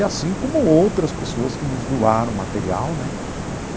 E assim como outras pessoas que nos doaram material, né?